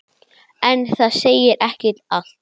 En það segir ekki allt.